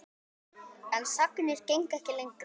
En sagnir gengu ekki lengra.